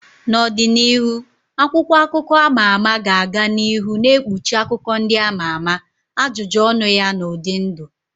N'ọdịnihu, akwụkwọ akụkọ a ma ama ga-aga n'ihu na-ekpuchi akụkọ ndị ama ama, ajụjụ ọnụ ya na ụdị ndụ.